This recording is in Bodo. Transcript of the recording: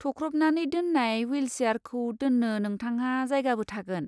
थख्रबनानानै दोन्नाय ह्विलसियारखौ दोन्नो नोंथांहा जायगाबो थागोन।